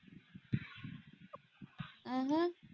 ਊ ਹੂ।